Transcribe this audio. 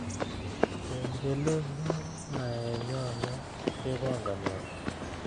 Kengelenyu naenyone kepangani au